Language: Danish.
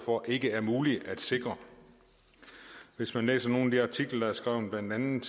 for ikke er muligt at sikre hvis man læser nogle af de artikler der er skrevet blandt andet